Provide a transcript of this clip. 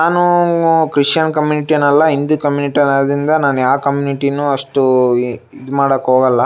ನಾನು Christian community ಅಲ್ಲ Hindu community ಅಲ್ಲ ನಾನು ಯಾವ್ ಕಮ್ಯೂನಿಟಿ ನು ಅಷ್ಟೊಂದ್ ಇದ್ ಮಾಡಕ್ ಹೋಗಲ್ಲ.